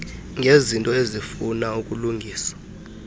ngezinto ezifuna ukulungiswa